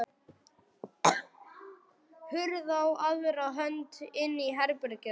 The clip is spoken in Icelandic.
Hurð á aðra hönd inn í herbergið hans.